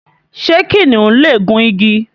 ṣé kìnìún lè gùn igi?